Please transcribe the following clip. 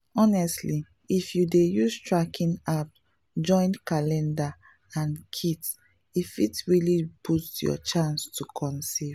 honestly if you dey use tracking app join calendar and kits e fit really boost your chance to conceive.